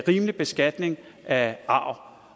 rimelig beskatning af arv